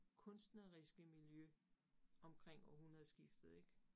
Kunstneriske miljø omkring århundredeskiftet ik